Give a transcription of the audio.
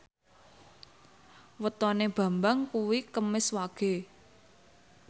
wetone Bambang kuwi Kemis Wage